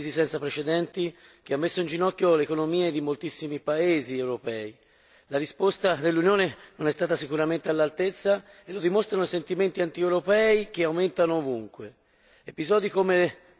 Abbiamo dovuto affrontare una crisi senza precedenti che ha messo in ginocchio le economie di moltissimi paesi europei. La risposta dell'Unione non è stata sicuramente all'altezza, come dimostrato da sentimenti antieuropei che aumentano ovunque.